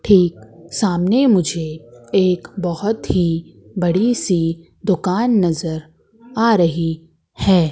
ठीक सामने मुझे एक बहोत ही बड़ी सी दुकान नजर आ रही है।